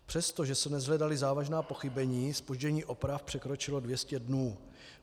Přestože se neshledala závažná pochybení, zpoždění oprav překročilo 200 dnů.